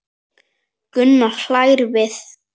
Gunnar hlær við.